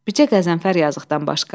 Bircə Qəzənfər yazıqdan başqa.